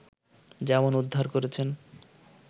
যেমন উদ্ধার করেছেন